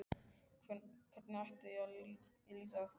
Hvernig ætti ég líka að geta það?